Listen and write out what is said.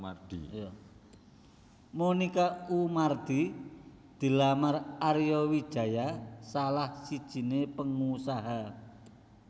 Monica Oemardi dilamar Arya Wijaya salah sijiné pengusaha